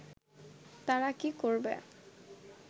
তারা কি করবে